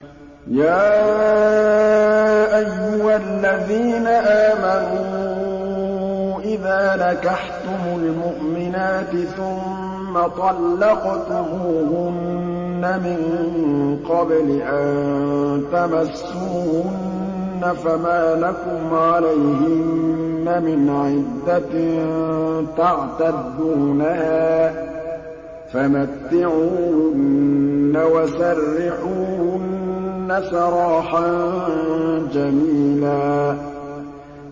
يَا أَيُّهَا الَّذِينَ آمَنُوا إِذَا نَكَحْتُمُ الْمُؤْمِنَاتِ ثُمَّ طَلَّقْتُمُوهُنَّ مِن قَبْلِ أَن تَمَسُّوهُنَّ فَمَا لَكُمْ عَلَيْهِنَّ مِنْ عِدَّةٍ تَعْتَدُّونَهَا ۖ فَمَتِّعُوهُنَّ وَسَرِّحُوهُنَّ سَرَاحًا جَمِيلًا